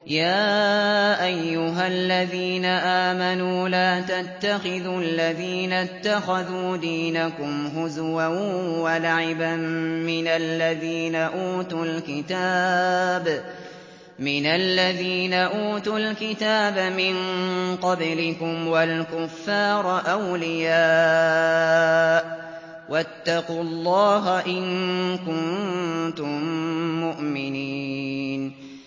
يَا أَيُّهَا الَّذِينَ آمَنُوا لَا تَتَّخِذُوا الَّذِينَ اتَّخَذُوا دِينَكُمْ هُزُوًا وَلَعِبًا مِّنَ الَّذِينَ أُوتُوا الْكِتَابَ مِن قَبْلِكُمْ وَالْكُفَّارَ أَوْلِيَاءَ ۚ وَاتَّقُوا اللَّهَ إِن كُنتُم مُّؤْمِنِينَ